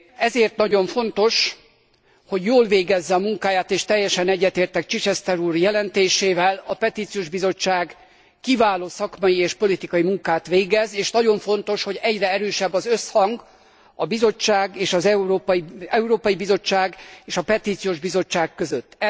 Ezért nagyon fontos, hogy jól végezze a munkáját, és teljesen egyetértek Chichester úr jelentésével, a Petíciós Bizottság kiváló szakmai és politikai munkát végez, és nagyon fontos, hogy egyre erősebb az összhang az Európai Bizottság és a Petíciós Bizottság között.